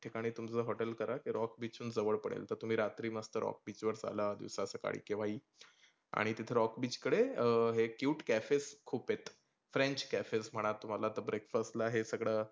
ठिकानी तुमचं हॉटेल करा ते rock beach वरूण जवळ पडेल. तर तुम्ही रात्री मस्त rock beach वर चालाल. सकाळी केव्हा ही. आणि तिथे rock beach कडे अं cute cafes खुप आहेत. french cafes म्हणा तुम्हाला तर breakfast हे सगळ